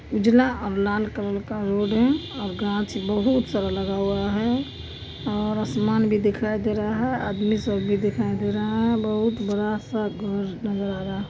उजला और लाल कलर का रोड है और घाच बोहोत सारा लगा हुआ है और आसमान भी दिखाई दे रहा है आदमी सब भी दिखाई दे रहा है लोग बहुत बड़ा सा घर नजर आ रहा है |